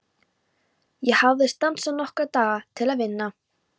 Ég hafði stansað nokkra daga til að vinna.